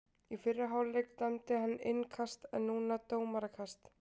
Í fyrri hálfleik dæmdi hann innkast en núna dómarakast.